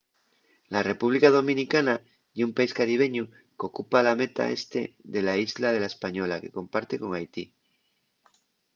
la república dominicana ye un país caribeñu qu’ocupa la metá este de la islla de la española que comparte con haiti